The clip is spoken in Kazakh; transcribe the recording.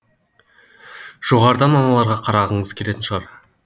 жоғарыдан аналарға қарағыңыз келетін шығар